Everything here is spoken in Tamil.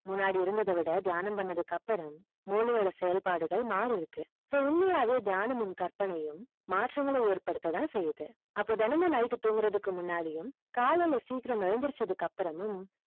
முன்னாடி இருந்தது விட தியானம் பண்ணது அப்பறம் மூளை ஓட செயல் பாடுகள் மாறி இருக்கு so உண்மையாவே தியானமும் கற்பனையும் மாற்றங்கள் ஏற்படுத்த தான் செய்து அப்போ தினமும் night தூக்கறது முன்னாடியும் காலைல சீக்கிரம் எஞ்சிரத்தை அபாரமும்